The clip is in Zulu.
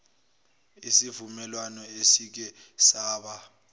isivumelwano esike saba